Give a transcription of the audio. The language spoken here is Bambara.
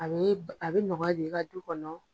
A a bɛ nɔgɔya do i ka du kɔnɔ.